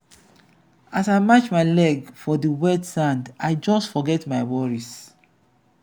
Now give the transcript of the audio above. as i match my leg for di wet sand i just forget my worries.